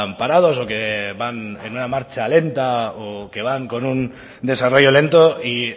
parados o que van en una marcha lenta o que van con un desarrollo lento y